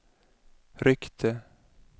ryckte